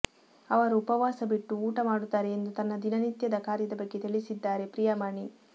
ಅವರು ಉಪವಾಸ ಬಿಟ್ಟು ಊಟ ಮಾಡುತ್ತಾರೆ ಎಂದು ತನ್ನ ದಿನನಿತ್ಯದ ಕಾರ್ಯದ ಬಗ್ಗೆ ತಿಳಿಸಿದ್ದಾರೆ ಪ್ರಿಯಾಮಣಿ